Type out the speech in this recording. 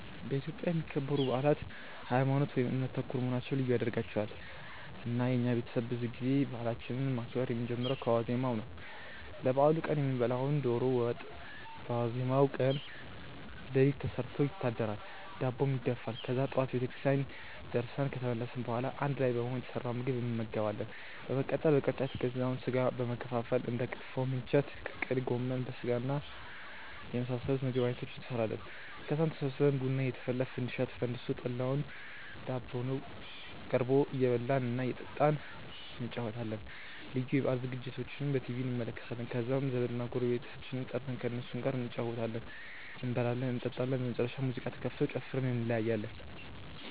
በኢትዮጵያ የሚከበሩ አብዛኞቹ በአላት ሀይማኖት ( እምነት) ተኮር መሆናቸው ልዩ ያደርጋቸዋል። እና የኛ ቤተሰብ ብዙ ጊዜ በአላችንን ማክበር የምንጀምረው ከዋዜማው ነው። ለበአሉ ቀን የምንበላውን የዶሮ ወጥ በዋዜማው ቀን ሌሊት ተሰርቶ ይታደራል፤ ዳቦም ይደፋል። ከዛ ጠዋት ቤተክርስቲያን ደርሰን ከተመለስን በኋላ አንድ ላይ በመሆን የተሰራውን ምግብ እንመገባለን። በመቀጠል በቅርጫ የተገዛውን ስጋ በመከፋፈል እንደ ክትፎ፣ ምንቸት፣ ቅቅል፣ ጎመን በስጋና የመሳሰሉት የምግብ አይነቶችን እንሰራለን። ከዛም ተሰብስበን ቡና እየተፈላ፣ ፈንዲሻ ተፈንድሶ፣ ጠላውና ዳቦው ቀርቦ እየበላን እና እየጠጣን እንጨዋወታለን። ልዩ የበአል ዝግጅቶችንም በቲቪ እንከታተላለን። ከዛም ዘመድና ጎረቤቶቻችንን ጠርተን ከእነሱም ጋር እንጨዋወታለን፤ እንበላለን እንጠጣለን። በመጨረሻም ሙዚቃ ተከፍቶ ጨፍረን እንለያያለን።